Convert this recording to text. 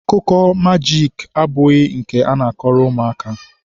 akụkọ majiiki abụghị nke a na-akọrọ ụmụaka.